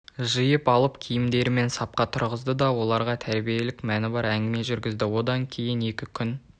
жиып алып киімдерімен сапқа тұрғызды оларға тәрбиелік мәні бар әңгіме жүргізді одан кейін екі күн